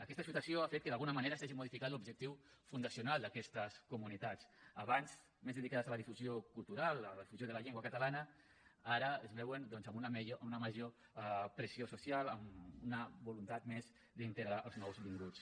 aquesta situació ha fet que d’alguna manera s’hagi modificat l’objectiu fundacional d’aquestes comunitats abans més dedicades a la difusió cultural a la difusió de la llengua catalana ara es veuen doncs amb una major pressió social amb una voluntat més d’integrar els nouvinguts